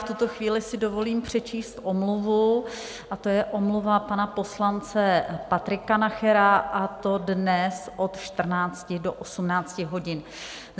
V tuto chvíli si dovolím přečíst omluvu, a to je omluva pana poslance Patrika Nachera, a to dnes od 14 do 18 hodin.